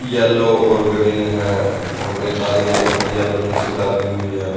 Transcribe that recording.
Yellow और green है और एक आदमी ने भी येलो टी शर्ट डाली हुई है।